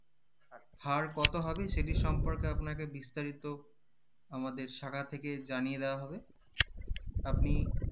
হার কত হবে সেটি সম্পর্কে আপনাকে বিস্তারিত আমাদের শাখা থেকে জানিয়ে দেওয়া হবে আপনি